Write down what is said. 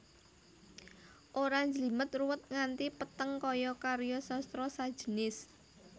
Ora njlimet ruwet nganti peteng kaya karya sastra sajenis